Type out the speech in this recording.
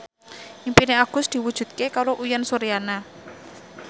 impine Agus diwujudke karo Uyan Suryana